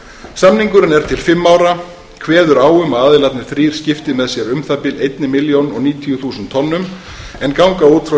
samningurinn er til fimm ára kveður á um að aðilarnir þrír skipti með sér um það bil þúsund níutíu þúsund tonnum en ganga út frá